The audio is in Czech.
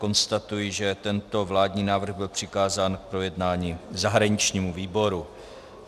Konstatuji, že tento vládní návrh byl přikázán k projednání zahraničnímu výboru.